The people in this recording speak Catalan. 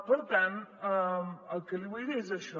per tant el que li vull dir és això